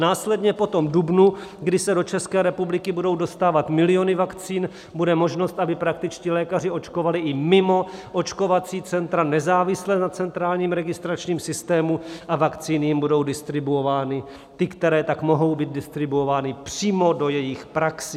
Následně po dubnu, kdy se do České republiky budou dostávat miliony vakcín, bude možnost, aby praktičtí lékaři očkovali i mimo očkovací centra, nezávisle na centrálním registračním systému, a vakcíny jim budou distribuovány ty, které tak mohou být distribuovány přímo do jejich praxí.